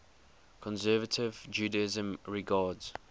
conservative judaism regards